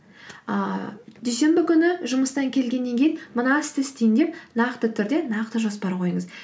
ыыы дүйсенбі күні жұмыстан келгеннен кейін мына істі істеймін деп нақты түрде нақты жоспар қойыңыз